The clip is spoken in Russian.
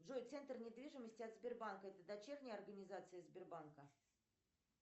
джой центр недвижимости от сбербанка это дочерняя организация сбербанка